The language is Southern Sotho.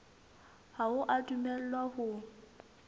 ha o a dumellwa ho